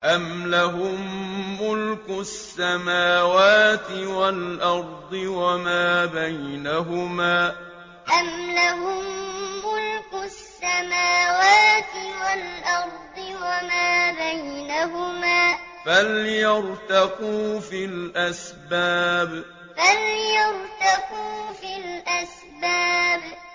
أَمْ لَهُم مُّلْكُ السَّمَاوَاتِ وَالْأَرْضِ وَمَا بَيْنَهُمَا ۖ فَلْيَرْتَقُوا فِي الْأَسْبَابِ أَمْ لَهُم مُّلْكُ السَّمَاوَاتِ وَالْأَرْضِ وَمَا بَيْنَهُمَا ۖ فَلْيَرْتَقُوا فِي الْأَسْبَابِ